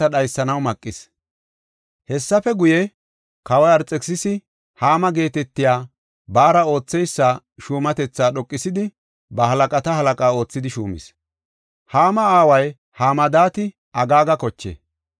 Hessafe guye, kawoy Arxekisisi Haama geetetiya baara ootheysa shuumatetha dhoqisidi, ba halaqata halaqa oothidi shuumis. Haama aaway Hamadaati Agaaga koche.